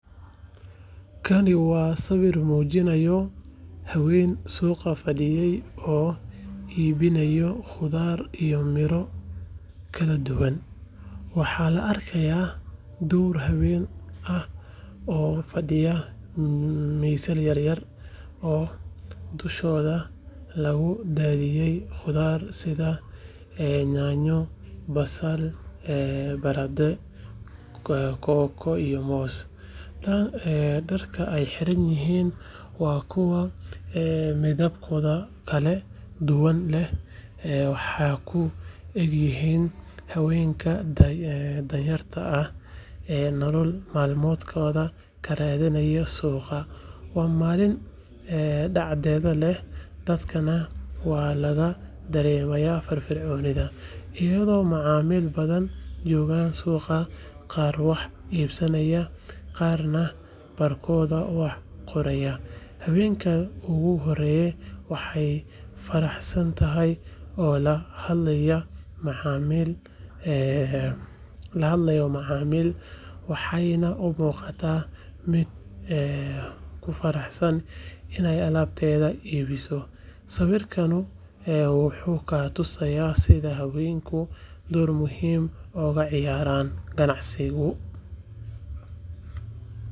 Kani waa sawir muujinaya haween suuq fadhiyey oo iibinaya khudaar iyo miro kala duwan. Waxaa la arkayaa dhowr haween ah oo fadhiya miisas yaryar, oo dushooda lagu daadiyay khudaar sida yaanyo, basal, barandhe, kooko iyo moos. Dharka ay xiran yihiin waa kuwo midabbo kala duwan leh, waxayna u egyihiin haweenka danyarta ah ee nolol maalmeedkooda ka raadsada suuqyada. Waa maalin cadceed leh, dadkana waxaa laga dareemayaa firfircooni, iyadoo macaamiil badani joogaan suuqa, qaar wax iibsanaya, qaarna baarkooda kala dooranaya. Haweeneyda ugu horeysa waxay faraxsan tahay, oo la hadlaysay macmiil, waxayna umuuqataa mid ku faraxsan iney alaabteeda iibiso. Sawirkaan wuxuu na tusayaa sida haweenku door muhiim ah uga ciyaaraan ganacsiga.